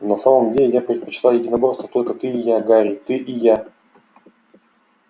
на самом деле я предпочитаю единоборство только ты и я гарри ты и я